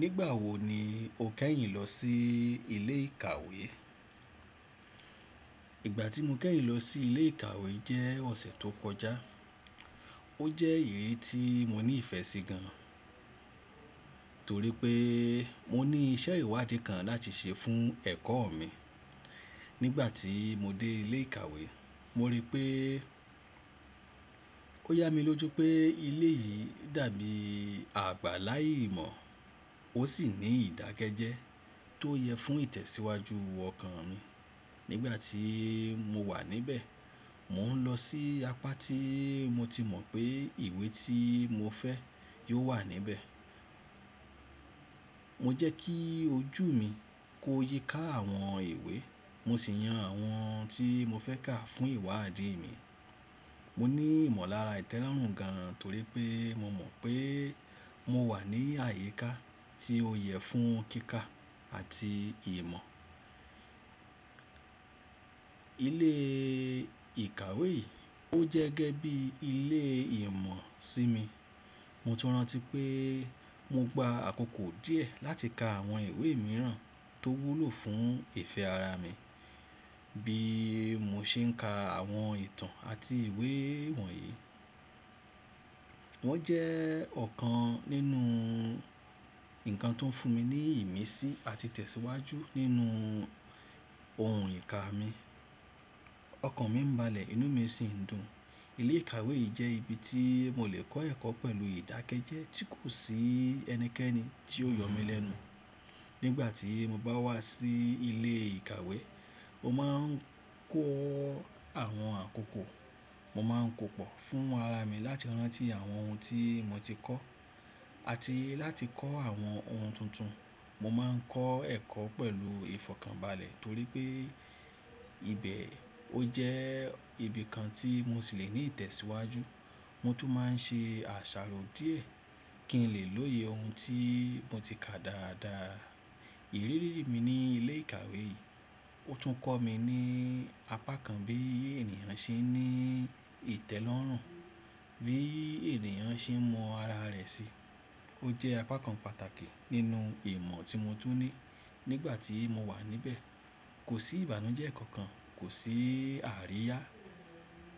Nígbà wo ni o kẹ́yìn lọ sí ilé ìkàwé? Ìgbà tí mo kẹ́yìn lọ sí ilé ìkàwé jẹ́ ọ̀sẹ̀ tó kọjá. Ó jẹ́ ìrírí tí mo ní ìfẹ́ sí gan, torí pé mo ní iṣẹ́ ìwádìí kan láti ṣe fún ẹ̀kọ́ mi. Nígbà tí mo dé ilé ìkàwé, mo rí pé ó yá mi lójú pé ilé yìí dàbí àgbàlá ìmọ̀ ó sì ní ìdákẹ́jẹ́ tó yẹ fún ìtẹ̀síwájú ọkàn mi. Nígbà tí mo wà níbẹ̀, mò ń lọ sí apá tí mo ti mọ̀ pé ìwé tí mo fẹ́ yóò wà níbẹ̀. Mo jẹ́ kí ojú mi kó yíká àwọn ìwé mo sì yan àwọn tí mo fẹ́ kà fún ìwádìí mi. Mo ní ìmọ̀lára ìtẹ́lọ́rùn gan torí pé mo mọ̀ pé mo wà ní àyíká tí ó yẹ fún kíkà àti ìmọ̀. Ilé ìkàwé yìí ó jẹ́ gẹ́gẹ́ bí ilé ìmọ̀ sí mi. Mo tún rántí pé mo gba àkókò díẹ̀ láti ka àwọn ìwé mìíràn tó wúlò fún ìfẹ́ ara mi bí mo ṣe ń ka àwọn ìtàn àti ìwé wọ̀nyí. Wọ́n jẹ́ ọ̀kan nínú nǹkan tó ń fún mi ní ìmísí àti tẹ̀síwájú nínú ohun ìka mi. Ọkàn mi ń balẹ̀ inú mi sì ń dùn. Ilé ìkàwé yìí jẹ́ ibi tí mo lè kọ́ ẹ̀kọ́ pẹ̀lú ìdákẹ́jẹ́ tí kò sí ẹnikẹ́ni tí ó yọ mí lẹ́nu. Nígbà tí mo bá wá sí ilé ìkàwé, mo máa ń kọ́ àwọn àkókò, mo máa ń kó pọ̀ fún ara mi láti rántí àwọn ohun tí mo ti kọ́ àti láti kọ́ àwọn ohun tuntun. Mo máa ń kọ́ ẹ̀kọ́ pẹ̀lú ìfọ̀kànbalẹ̀ torí pé ibẹ̀ ó jẹ́ ibi kan tí mo sì lè ní ìtẹ̀síwájú. Mo tún máa ń ṣe àṣàrò díẹ̀ kí n lè lóye ohun tí mo ti kà dáadáa. Ìrírí mi ní ilé ìkàwé yìí ó tún kọ́ mi ní apá kan bí ènìyàn ṣe ní ìtẹ́lọ́rùn, bí ènìyàn ṣe mọ ara rẹ̀ si. Ó jẹ́ apá kan pàtàkì nínú ìmọ̀ tí mo tún ní. Nígbà tí mo wà níbẹ̀, kò sí ìbànújẹ́ kankan, kò sí àríyá.